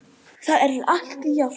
Það er allt í járnum